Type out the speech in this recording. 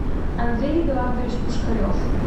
андрей эдуардович пушкарев